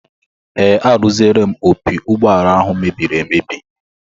Ee, arụziela m opi ụgbọala ahụ mebiri emebi